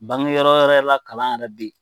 Bangeyɔrɔ wɛrɛw la kalan yɛrɛ bɛ yen.